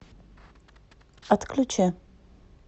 отключи